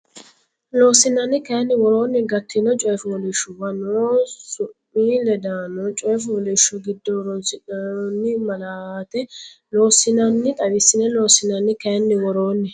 Loossinanni kayinni woroonni gattinno coy fooliishshuwa noo su mi ledaanonni coy fooliishsho giddo horoonsidhinoonni malaate loossinanni xawisse Loossinanni kayinni woroonni.